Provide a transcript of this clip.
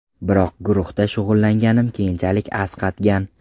Biroq guruhda shug‘ullanganim keyinchalik asqatgan.